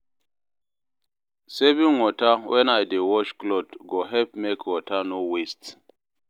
Saving water when I dey wash cloth go help make water no waste.